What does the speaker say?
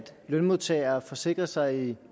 lønmodtagere forsikrer sig